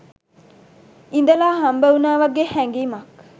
ඉඳලා හම්බ වුණා වගේ හැඟීමක්.